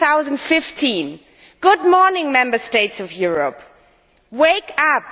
2015. Good morning Member States of Europe, wake up!